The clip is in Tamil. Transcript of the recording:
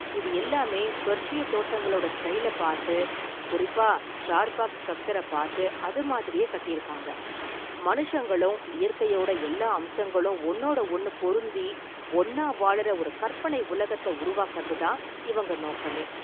இது எல்லாமே பெர்ஷிய தோட்டங்களோட ஸ்டைல பாத்து, குறிப்பா சார்பாக் ஸ்ட்ரக்சர் பாத்து அது மாதிரியே கட்டியிருக்காங்க, மனுஷங்களும் இயற்கையோட எல்லா அம்சங்களும் ஒன்னோட ஒன்னு பொருந்தி ஒன்னா வாழுற ஒரு கற்பனை உலகத்த உருவாக்கறது தான் இவங்க நோக்கமே.